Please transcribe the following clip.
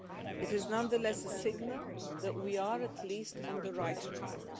It is nonetheless a signal that we are at least on the right track.